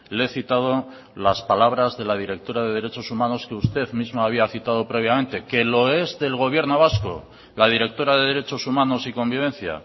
le he citado las palabras de la directora de derechos humanos que usted mismo había citado previamente que lo es del gobierno vasco la directora de derechos humanos y convivencia